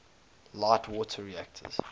light water reactors